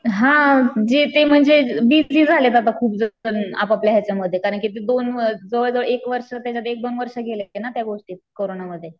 हां जे ते म्हणजे बीजी झालेत आता खूप जण आपापल्या हेच्यामध्ये कारण की दोन जवळजवळ एक वर्ष एक दोन वर्ष गेले ना त्या गोष्टीत कोरोनामध्ये.